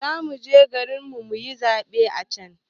Zamuje garin mu muyi zaɓe a can